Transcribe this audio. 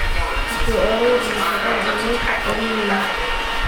Iskusoarurix nafaqadha aan mesha qalinex.